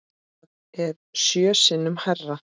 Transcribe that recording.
Það er sjö sinnum hærra.